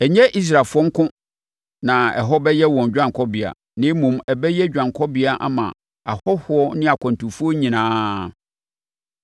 Ɛnyɛ Israelfoɔ nko na ɛhɔ bɛyɛ wɔn dwanekɔbea, na mmom, ɛbɛyɛ dwanekɔbea ama ahɔhoɔ ne akwantufoɔ nyinaa.